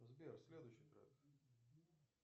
сбер следующий трек